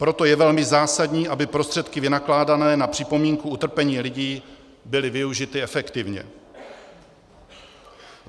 Proto je velmi zásadní, aby prostředky vynakládané na připomínku utrpení lidí byly využity efektivně.